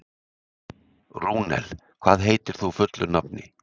Rúnel, hvað heitir þú fullu nafni?